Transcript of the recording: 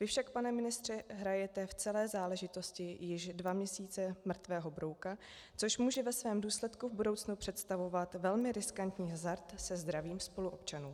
Vy však, pane ministře, hrajete v celé záležitosti již dva měsíce mrtvého brouka, což může ve svém důsledku v budoucnu představovat velmi riskantní hazard se zdravím spoluobčanů.